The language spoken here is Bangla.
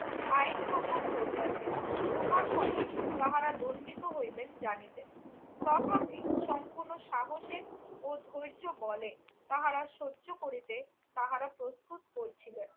আইন ভঙ্গ করিয়াছেন। উহার ফলে তাহারা দণ্ডিত হইবেন জানিতেন। তথাপি সম্পূর্ণ সাহসের ও ধৈর্যবলে তাহারা সহ্য করিতে তাহারা প্রস্তুত করছিলেন।